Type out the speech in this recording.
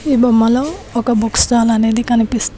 ఈ బొమ్మ లో ఒక బుక్ స్టాల్ అనేది కనిపిస్తుంది.